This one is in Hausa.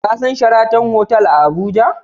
Ka san sharaton hotel a Abuja?